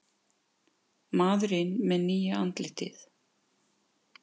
Maðurinn með nýja andlitið